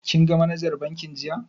Kin ga manajar bankin jiya?